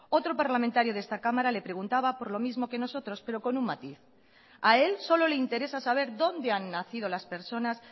otro parlamentario de esta cámara le preguntaba por lo mismo que nosotros pero con un matiz a él solo le interesa saber dónde han nacido las personas